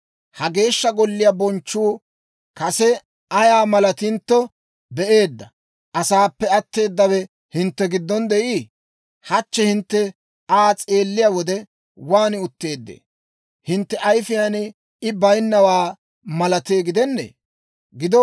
‹Ha Geeshsha Golliyaa bonchchuu kase ayaa malentto be'eedda asaappe atteedawe hintte giddon de'ii? Hachche hintte Aa s'eelliyaa wode, waan utteeddee? Hintte ayifiyaan I baynnawaa malatee gidennee?